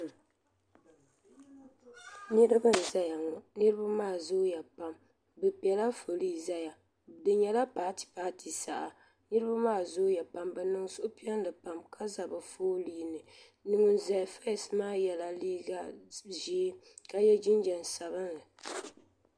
niraba n ʒɛya ŋɔ niraba maa zooya pam bi piɛla foolii ʒɛya di nyɛla paati paati saha niraba maa zooya pam bi niŋ suhupiɛlli pam ka ʒɛ bi foolii ni ŋun ʒɛ fees maa yɛla liiga ʒiɛ ka so jinjɛm sabinli